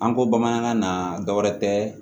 An ko bamanankan na dɔ wɛrɛ tɛ